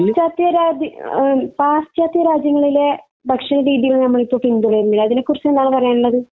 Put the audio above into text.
ഈ പാശ്ചാത്യ രാജ്യ, പാശ്ചാത്യ രാജ്യങ്ങളിലെ ഭക്ഷണരീതി നമ്മൾ ഇപ്പോൾ പിന്തുടരുന്നില്ലേ? അതിനെക്കുറിച്ച് എന്താണ് പറയാനുള്ളത്?